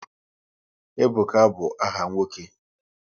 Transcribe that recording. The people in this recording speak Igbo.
Ebuka bụ áhà nwoke